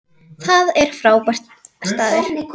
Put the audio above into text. Það er frábær staður.